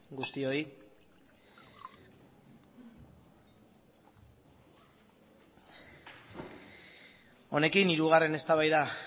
guztioi honekin hirugarren eztabaida